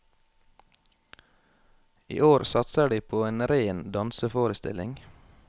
I år satser de på en ren danseforestilling.